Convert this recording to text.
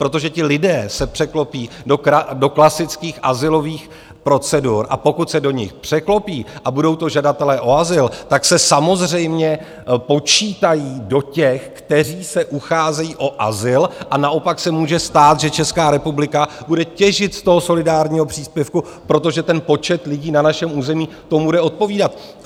Protože ti lidé se překlopí do klasických azylových procedur, a pokud se do nich překlopí a budou to žadatelé o azyl, tak se samozřejmě počítají do těch, kteří se ucházejí o azyl, a naopak se může stát, že Česká republika bude těžit z toho solidárního příspěvku, protože ten počet lidí na našem území tomu bude odpovídat.